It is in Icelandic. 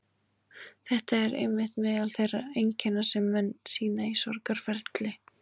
Þetta eru einmitt meðal þeirra einkenna sem menn sýna í sorgarferli.